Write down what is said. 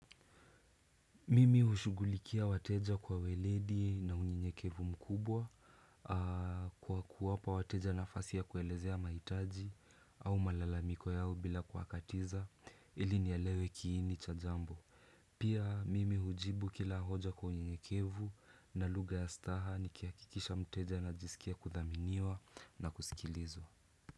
Mimi hushughulikia wateja kwa uweledi na unyenykevu mkubwa kwa kuwapa wateja nafasi ya kuelezea mahitaji au malalamiko yao bila kuwakatiza ili ni elewe kiini cha jambo. Pia mimi hujibu kila hoja kwa unyekevu na lugha ya staha nikihakikisha mteja anajisikia kuthaminiwa na kusikilizwa.